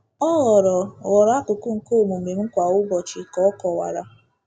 Ọ ghọrọ ghọrọ akụkụ nke omume m kwa ụbọchị, ka o kọwara.